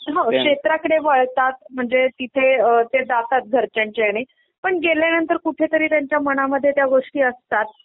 अ अ क्षेत्राकडे वळतात म्हणजे तिथे ते जातात घरच्यांच्या याने पण गेल्यानंतर कुठे तरी त्यांच्या मनामध्ये त्या गोष्टी असतात.